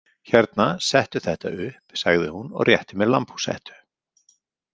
Hérna, settu þetta upp, sagði hún og rétti mér lambhúshettu. „